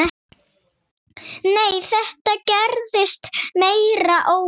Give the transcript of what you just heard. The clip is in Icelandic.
Nei, þetta gerðist meira óvart.